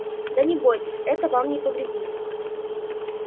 да не бойтесь это вам не повредит